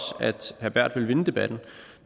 at berth vil vinde debatten